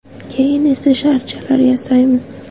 Keyin esa sharchalar yasaymiz.